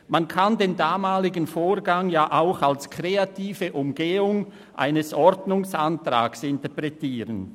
Man kann den damaligen Vorgang ja auch als kreative Umgehung eines Ordnungsantrags interpretieren.